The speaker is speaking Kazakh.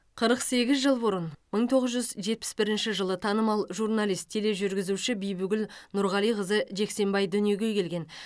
қырық сегіз жыл бұрын мың тоғыз жүз жетпіс бірінші жылы танымал журналист тележүргізуші бибігүл нұрғалиқызы жексенбай дүниеге келген